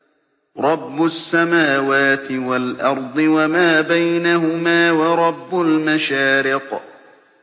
رَّبُّ السَّمَاوَاتِ وَالْأَرْضِ وَمَا بَيْنَهُمَا وَرَبُّ الْمَشَارِقِ